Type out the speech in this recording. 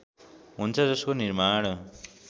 हुन्छ जसको निर्माण